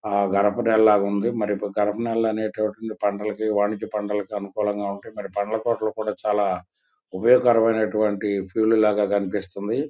ఆ కార్ప నెల లాగా ఉంది ఆ గరపా నెల లనేటటువంటివి పంటలకు వణికి పంటలకు అమ్ముకోటానికి మరి పండ్ల కొట్టు లు కూడా చాలా ఉపయోగకరమైన ఫెయిల్డ్ లాగా కనిపిస్తుంది.